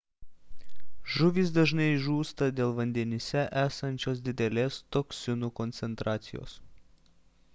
žuvys dažnai žūsta dėl vandenyse esančios didelės toksinų koncentracijos